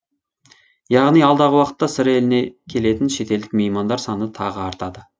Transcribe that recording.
яғни алдағы уақытта сыр еліне келетін шетелдік меймандар саны тағы артады